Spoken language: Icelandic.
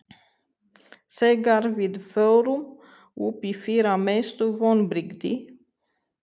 Þegar við fórum upp í fyrra Mestu vonbrigði?